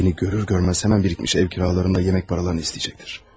Beni görür görmez hemen birikmiş ev kiralarımı ve yemek paralarını isteyecektir.